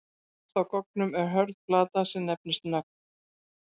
Fremst á goggnum er hörð plata sem nefnist nögl.